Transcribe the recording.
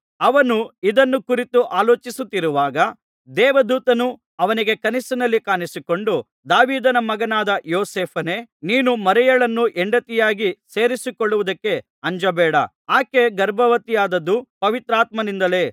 ಅವನು ಇದನ್ನು ಕುರಿತು ಆಲೋಚಿಸುತ್ತಿರುವಾಗ ದೇವದೂತನು ಅವನಿಗೆ ಕನಸಿನಲ್ಲಿ ಕಾಣಿಸಿಕೊಂಡು ದಾವೀದನ ಮಗನಾದ ಯೋಸೇಫನೇ ನೀನು ಮರಿಯಳನ್ನು ಹೆಂಡತಿಯಾಗಿ ಸೇರಿಸಿಕೊಳ್ಳುವುದಕ್ಕೆ ಅಂಜಬೇಡ ಆಕೆ ಗರ್ಭವತಿಯಾದದ್ದು ಪವಿತ್ರಾತ್ಮನಿಂದಲೇ